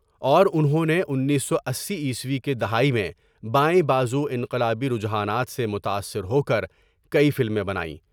اور انہوں نے انیس سو عیسوی کے دہے میں بائیں باز وانقلابی رجحانات سے متاثر ہو کر کئی فلمیں بنائیں ۔